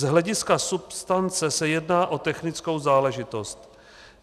Z hlediska substance se jedná o technickou záležitost.